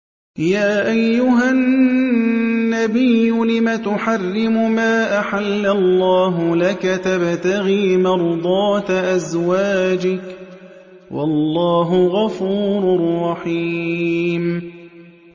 يَا أَيُّهَا النَّبِيُّ لِمَ تُحَرِّمُ مَا أَحَلَّ اللَّهُ لَكَ ۖ تَبْتَغِي مَرْضَاتَ أَزْوَاجِكَ ۚ وَاللَّهُ غَفُورٌ رَّحِيمٌ